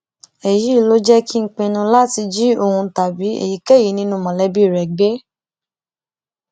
èyí ló jẹ kí n pinnu láti jí òun tàbí èyíkéyìí nínú mọlẹbí rẹ gbé